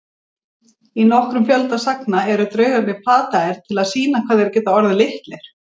Í nokkrum fjölda sagna eru draugarnir plataðir til að sýna hvað þeir geti orðið litlir.